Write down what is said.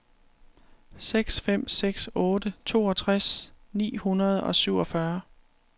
seks fem seks otte toogtres ni hundrede og syvogfyrre